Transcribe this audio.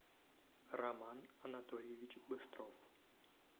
роман анатольевич быстров